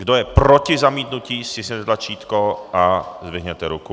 Kdo je proti zamítnutí, stiskněte tlačítko a zdvihněte ruku.